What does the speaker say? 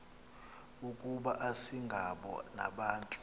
ukuba asingabo nabantu